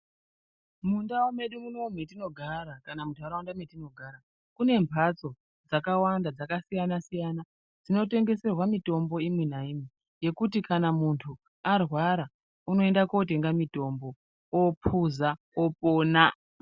Mundau medu munomu metinogara kana muntaraunda metinogara mune mphatso dzakawanda dzakasiyana siyana dzinotengeserwa mitombo imi nayi yekuti arwara unoenda kotenga mutombo opuza opona.